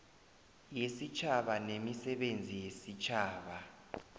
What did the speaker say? yesitjhaba nemisebenzi yesitjhaba